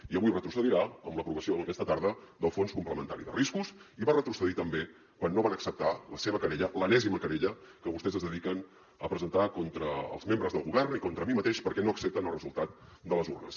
i avui retrocedirà amb l’aprovació aquesta tarda del fons complementari de riscos i va retrocedir també quan no van acceptar la seva querella l’enèsima querella que vostès es dediquen a presentar contra els membres del govern i contra mi mateix perquè no accepten el resultat de les urnes